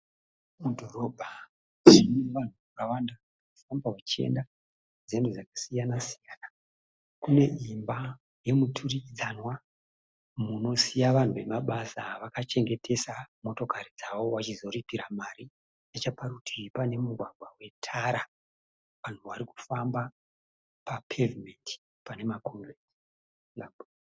Mudhorobha mune vanhu vakawanda vanenge vachienda nzendo dzakasiyana-siyana. Kuneimba yemuturikidzanwa munosiya vanhu vemabasa vakachengetesa motokari dzavo vachizoripira mari. Necheparutivi pane mugwagwa wetara vanhu pavarikufamba papevhumendi panemakongireti sirabhu.